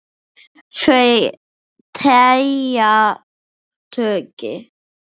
Þau telja tugi.